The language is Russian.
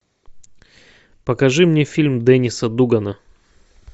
покажи мне фильм дэниса дугана